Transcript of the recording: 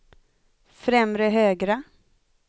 främre högra